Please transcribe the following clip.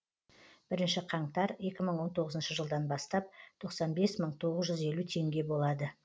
бірінші қаңтар екі мың он тоғызыншы жылдан бастап тоқсан бес мың тоғыз жүз елу теңге болады